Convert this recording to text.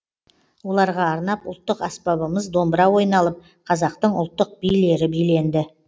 оларға арнап ұлттық аспабымыз домбыра ойналып қазақтың ұлттық билері биленді